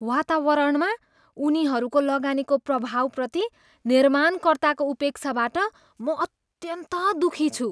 वातावरणमा उनीहरूको लगानीको प्रभावप्रति निर्माणकर्ताको उपेक्षाबाट म अत्यन्त दुखी छु।